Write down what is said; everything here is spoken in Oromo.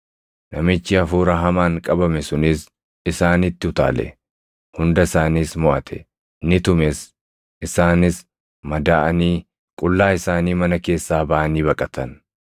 Namichi hafuura hamaan qabame sunis isaanitti utaale; hunda isaaniis moʼate; ni tumes; isaanis madaaʼanii qullaa isaanii mana keessaa baʼanii baqatan.